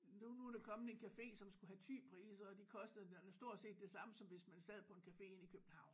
Nu nu der kommet en café som skulle have Thy-priser og de koster stort set det samme som hvis man sad på en café inde i København